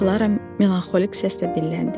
Klara melanxolik səslə dilləndi.